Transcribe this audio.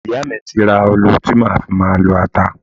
Ìyá mi ti ra ọlọ tí màá fi máa lọ ata.